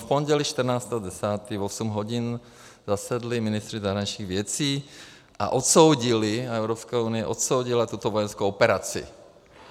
V pondělí 14. 10. v 8 hodin zasedli ministři zahraničních věcí a odsoudili, Evropská unie odsoudila, tuto vojenskou operaci.